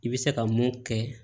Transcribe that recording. I bɛ se ka mun kɛ